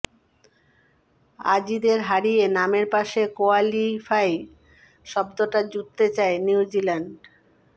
অজিদের হারিয়ে নামের পাশে কোয়ালিফাই শব্দটা জুড়তে চায় নিউজিল্যান্ড